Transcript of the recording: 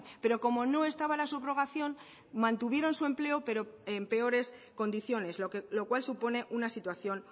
pero como no estaba la subrogación mantuvieron su empleo pero en peores condiciones lo cual supone una situación